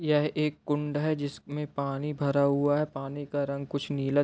यह एक कुंड है जिसमें पानी भरा हुआ है पानी का रंग कुछ नीला --